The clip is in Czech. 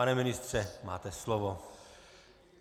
Pane ministře, máte slovo.